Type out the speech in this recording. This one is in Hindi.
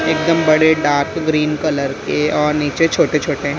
एकदम बड़े डार्क ग्रीन कलर के और नीचे छोटे-छोटे--